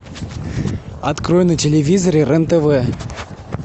открой на телевизоре рен тв